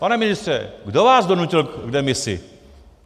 Pane ministře, kdo vás donutil k demisi?